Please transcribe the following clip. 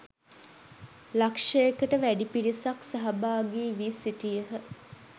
ලක්ෂයකට වැඩි පිරිසක් සහභාගි වී සිටියහ